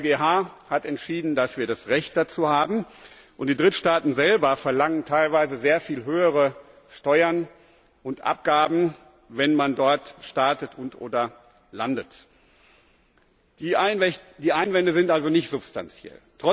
Der EuGH hat entschieden, dass wir das Recht dazu haben, und die Drittstaaten selber verlangen teilweise sehr viel höhere Steuern und Abgaben, wenn man dort startet und oder landet. Die Einwände sind also nicht substanziell.